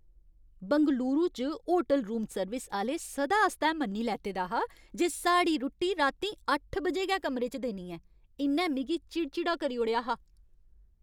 बंगलूरू च hotel room service आह्‌ले सदा आस्तै मन्नी लैते दा हा जे साढ़ी रुट्टी रातीं अट्ठ बजे गै कमरे च देनी ऐ। इ'न्नै मिगी चिड़चिड़ा करी ओड़ेआ हा।